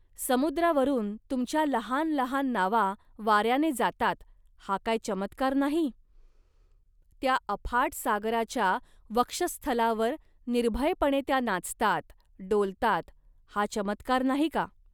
समुद्रावरून तुमच्या लहान लहान नावा वाऱ्याने जातात, हा काय चमत्कार नाही. त्या अफाट सागराच्या वक्षःस्थलावर निर्भयपणे त्या नाचतात, डोलतात, हा चमत्कार नाही का